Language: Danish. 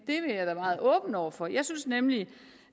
jeg være meget åben over for jeg synes nemlig